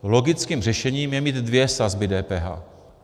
Logickým řešením je mít dvě sazby DPH.